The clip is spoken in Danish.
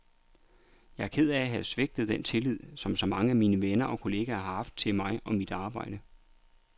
Jeg er ked af at have svigtet den tillid, som så mange af mine venner og kolleger har haft til mig og mit arbejde.